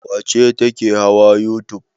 Wace ce take hawa youtube?